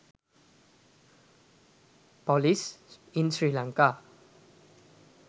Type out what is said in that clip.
police in sri lanka